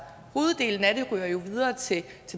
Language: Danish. hoveddelen af det ryger jo videre til